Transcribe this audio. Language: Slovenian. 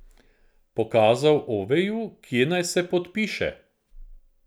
Pokazal Oveju, kje naj se podpiše.